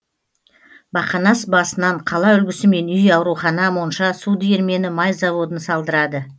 бақанас басынан қала үлгісімен үй аурухана монша су диірмені май заводын салдырады